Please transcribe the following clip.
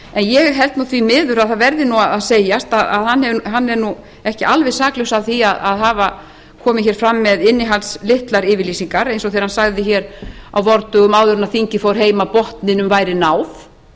ég held því miður að það verði að segjast að hann er ekki alveg saklaus af því að hafa komið fram með innihaldslitlar yfirlýsingar eins og þegar hann sagði á vordögum áður en þingið fór heim að botninum væri náð